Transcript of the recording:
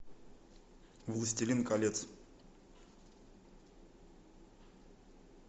властелин колец